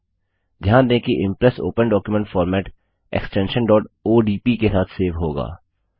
ध्यान दें कि Impress open document format extension odp के साथ सेव होगा